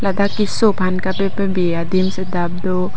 ladak keso phan kapa bebe adim sitame do.